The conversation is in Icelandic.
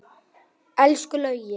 Elsku Laugi.